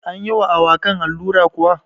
Anyi wa awakan allura kuwa?